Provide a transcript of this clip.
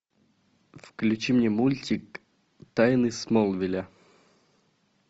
включи мне мультик тайны смолвиля